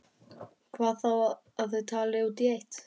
Og hvað þá að þau tali út í eitt.